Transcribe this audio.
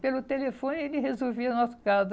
Pelo telefone, ele resolvia nosso caso.